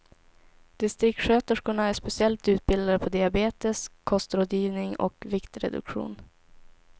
Distriktssköterskorna är speciellt utbildade på diabetes, kostrådgivning och viktreduktion.